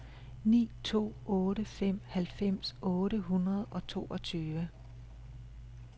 ni to otte fem halvfems otte hundrede og toogtyve